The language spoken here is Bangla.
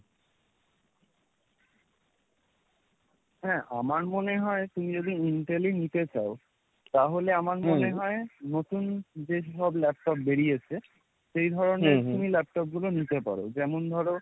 হ্যাঁ আমার মনে হয় তুমি যদি intel ই নিতে চাও, তাহলে আমার মনে হয় নতুন যেসব laptop বেরিয়েছে সেই ধরনের তুমি laptop গুলো নিতে পারো যেমন ধরো,